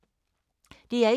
DR1